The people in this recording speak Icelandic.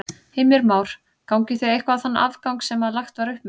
Heimir Már: Gangið þið eitthvað á þann afgang sem að lagt var upp með?